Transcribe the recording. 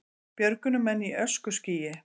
Björgunarmenn í öskuskýi